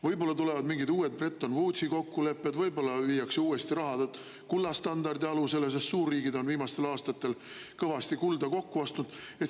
Võib-olla tulevad mingid uued Bretton Woodsi kokkulepped, võib-olla viiakse raha uuesti kullastandardi alusele, sest suurriigid on viimastel aastatel kõvasti kulda kokku ostnud.